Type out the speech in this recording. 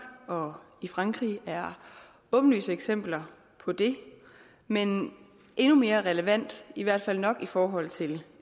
og i frankrig er åbenlyse eksempler på det men endnu mere relevant i hvert fald nok i forhold til